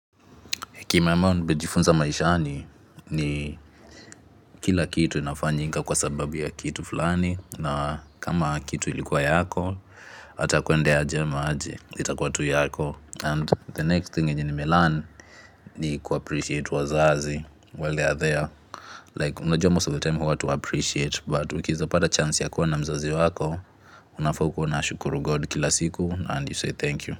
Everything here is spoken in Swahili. Kima ambao nimejifunza maishani ni kila kitu inafanyika kwa sababu ya kitu fulani. Na kama kitu ilikuwa yako, ata kuende aje ama aje. Itakuwa tu yako. And the next thing yenye nimelearni niku appreciate wazazi. While they are there. Like, unajua most of the time huwa hatuappreciate. But ukieza pada chance ya kuwa na mzazi wako, unafaa ukuwe unashukuru God kila siku. And you say thank you.